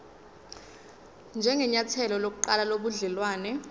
njengenyathelo lokuqala lobudelwane